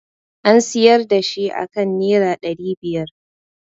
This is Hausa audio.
An siyar da shi aka nera ɗari biyar